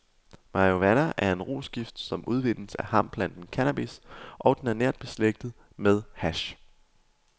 Marihuana er en rusgift, som udvindes af hampeplanten cannabis, og den er nært beslægtet med hash.